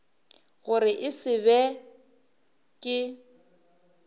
gore e se be ke